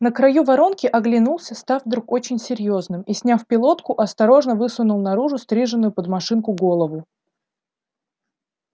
на краю воронки оглянулся став вдруг очень серьёзным и сняв пилотку осторожно высунул наружу стриженную под машинку голову